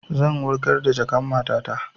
Zan wurgar da jakan matata